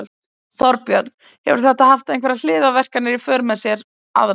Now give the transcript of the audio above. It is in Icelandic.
Þorbjörn: Hefur þetta haft einhverjar hliðarverkanir í för með sér aðrar?